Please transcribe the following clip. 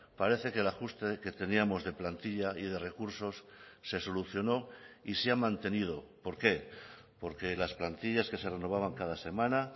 parece que el ajuste que teníamos de plantilla y de recursos se solucionó y se ha mantenido por qué porque las plantillas que se renovaban cada semana